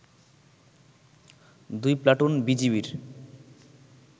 দুই প্লাটুন বিজিবির